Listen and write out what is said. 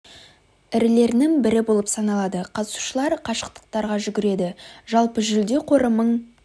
ірілерінің бірі болып саналады қатысушылар қашықтықтарға жүгіреді жалпы жүлде қоры мың